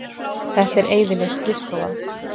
Þetta er eyðileg skrifstofa.